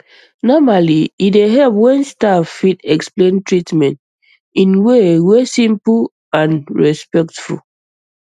normally e dey help when staff fit explain treatment in way wey simple and respectful